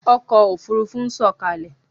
Ọkọ̀ Òfurufú ń sọ̀kalẹ̀!